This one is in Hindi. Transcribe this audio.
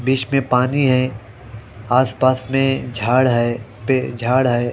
बीच में पानी है आस पास में झाड़ है पे झाड़ है।